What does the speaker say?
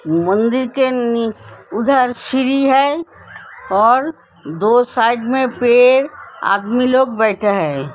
मंदिर के नि उधर सीढ़ी है और दो साइड में पेड़ आदमी लोग बैठे है।